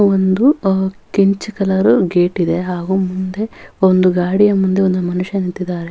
ಒಂದು ಕೆಂಚ್ colour gate ಹಾಗು ಮುಂದೆ ಒಂದು ಗಾಡಿಯ ಮುಂದೆ ಒಂದು ಮನುಷ್ಯ ನಿಂತಿದ್ದಾನೆ.